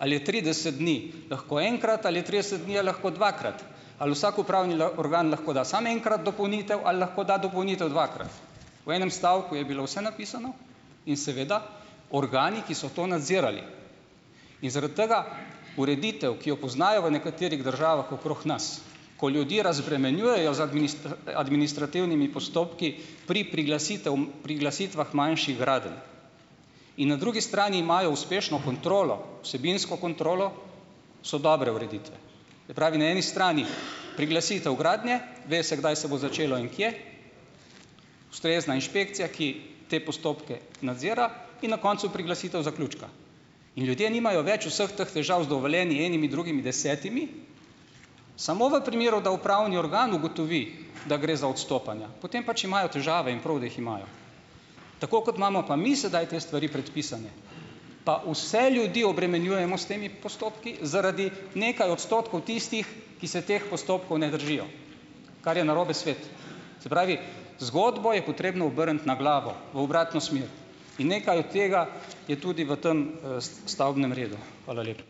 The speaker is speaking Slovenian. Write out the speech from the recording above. ali je trideset dni lahko enkrat ali je trideset dni je lahko dvakrat, ali vsak upravni organ lahko da samo enkrat dopolnitev ali lahko da dopolnitev dvakrat. V enem stavku je bilo vse napisano in seveda organi, ki so to nadzirali. In zaradi tega ureditev, ki jo poznajo v nekaterih državah okrog nas, ko ljudi razbremenjujejo z administrativnimi postopki pri priglasitev priglasitvah manjših gradenj, in na drugi strani imajo uspešno kontrolo, vsebinsko kontrolo, so dobre ureditve. Se pravi, na eni strani priglasitev gradnje, ve se, kdaj se bo začelo in kje, ustrezna inšpekcija, ki te postopke nadzira, in na koncu priglasitev zaključka. In ljudje nimajo več vseh teh težav z dovoljenji, enimi, drugimi, desetimi. Samo v primeru, da upravni organ ugotovi, da gre za odstopanja, potem pač imajo težave in prav, da jih imajo. Tako kot imamo pa mi sedaj te stvari predpisane, pa vse ljudi obremenjujemo s temi postopki zaradi nekaj odstotkov tistih, ki se teh postopkov ne držijo, kar je narobe svet. Se pravi, zgodbo je potrebno obrniti na glavo, v obratno smer, in nekaj od tega je tudi v tem, stavbnem redu. Hvala lepa.